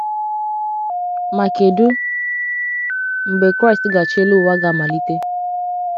Ma kedụ mgbe Kraịst ga achi elu ụwa ga - amalite?